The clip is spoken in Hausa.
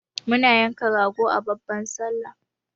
muna yanka rago a babban sallah